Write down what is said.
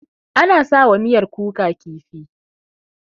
Ana sa wa miyar kuka kifi.